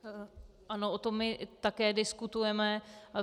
Ano, o tom my také diskutujeme.